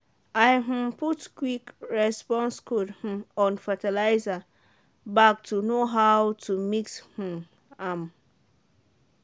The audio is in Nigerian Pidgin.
i um put quick response code um on fertiliser bag to know how to mix um am.